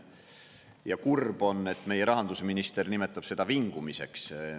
Ja kurb on, et meie rahandusminister nimetab seda vingumiseks.